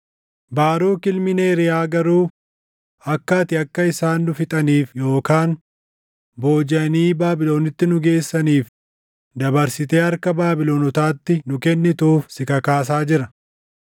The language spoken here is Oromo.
Baaruk ilmi Neeriyaa garuu akka ati akka isaan nu fixaniif yookaan boojiʼanii Baabilonitti nu geessaniif dabarsitee harka Baabilonotaatti nu kennituuf si kakaasaa jira.”